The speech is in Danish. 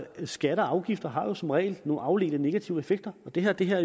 skatter og afgifter har jo som regel nogle afledte negative effekter og det har det her